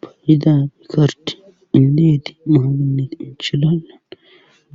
Payidapi karte indeeti mahaginne inchilala